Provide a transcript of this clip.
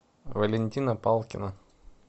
валентина палкина